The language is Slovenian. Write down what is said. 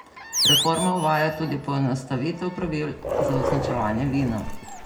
Reforma uvaja tudi poenostavitev pravil za označevanje vina.